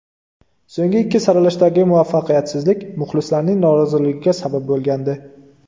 So‘nggi ikki saralashdagi muvaffaqiyatsizlik muxlislarning noroziligiga sabab bo‘lgandi.